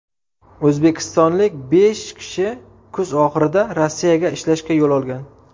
O‘zbekistonlik besh kishi kuz oxirida Rossiyaga ishlashga yo‘l olgan.